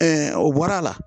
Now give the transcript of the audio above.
o bɔra a la